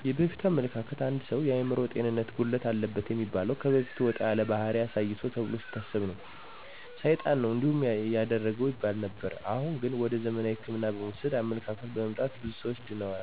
የበፊቱ አመለካከት አንድ ሰው የአምሮ ጤንነት ጉድለት አለበት የሚበላው ከበፊቱ ወጣ ያለ ባሕሪ አሳይቶል ተብሎ ሲታሰብ ነው። ሳይጣን ነው እንዲህ ያደረገው ይባል ነበር። አሁን ግን ወደ ዘመናዊ ህክምናዎች የመውሰድ አመለካከት በመምጣቱ ብዙ ሰዎች ድነዋል።